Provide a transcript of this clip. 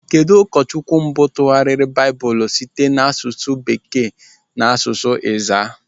Kedụ ụkọchukwu mbụ tụgharịrị Baịbụl site n'asụsụ Bekee n'asụsụ Ezaa?